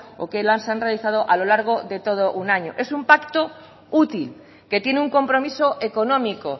o que los han realizado a lo largo de todo un año es un pacto útil que tiene un compromiso económico